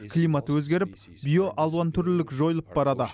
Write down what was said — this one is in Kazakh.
климат өзгеріп биоалуантүрлілік жойылып барады